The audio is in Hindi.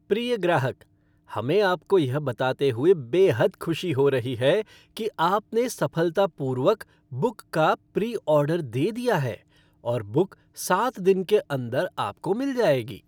प्रिय ग्राहक! हमें आपको यह बताते हुए बेहद खुशी हो रही है कि आपने सफलतापूर्वक बुक का प्री ऑर्डर दे दिया है और बुक सात दिन के अंदर आपको मिल जाएगी।